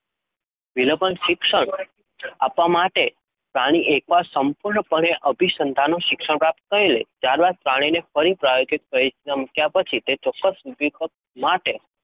વિલોપન શિક્ષણ આપવા માટે પ્રાણી એકવાર સંપૂર્ણપણે અભિસંધાનનું શિક્ષણ પ્રાપ્ત કરી લે ત્યારબાદ પ્રાણીને ફરી પ્રાયોગિક પરિસ્થિતિમાં મૂક્યા પછી તે ચોક્કસ ઉદ્દીપક માટે